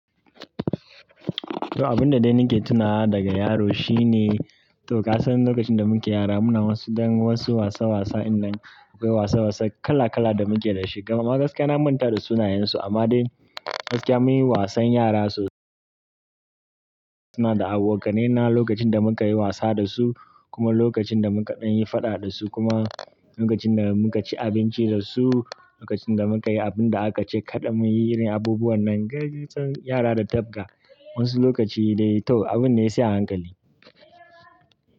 To, abin da dai nake tunawa daga yaro shine, to kasan lokacin da muke yara muna wasu ɗan wasu wasa wasa ɗinnan akwai wasa wasa kala kala da muke da shi. Amma gaskiya na manta da sunayensu amma dai gaskiya mun yi wasan yara sos-- suna da abokanai na lokacin da muka yi wasa da su kuma lokacin da muka ɗan yi faɗa da su kuma lokacin da muka ci abinci da su, lokacin da muka yi abin da aka ce kaɗa mu yi irin abubuwan nan. Ga gizo yara da tafga wasu lokaci dai toh abinne sai a hankali.